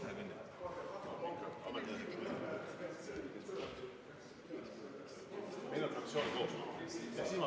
Enne hääletamist on vaheaeg kümme minutit.